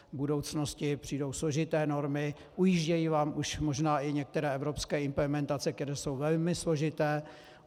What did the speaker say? V budoucnosti přijdou složité normy, ujíždějí vám už možná i některé evropské implementace, které jsou velmi složité.